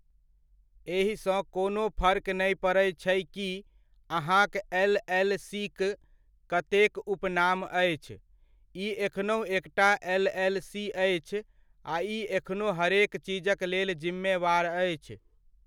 एहि सँ कोनो फर्क नै पड़ैत छै कि अहाँक एल.एल.सी.क कतेक उपनाम अछि, ई एखनहुँ एकटा एल.एल.सी. अछि आ ई एखनो हरेक चीजक लेल जिम्मेवार अछि।